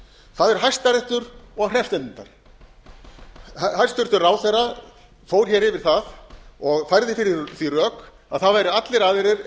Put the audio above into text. það er hæstiréttur og hreppsnefndirnar hæstvirtur ráðherra for hér yfir það og færði fyrir því rök að það væru allir aðrir